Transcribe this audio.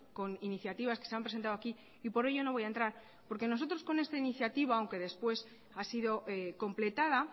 con iniciativas que se han presentado aquí y por ello no voy a entrar porque nosotros con esta iniciativa aunque después ha sido completada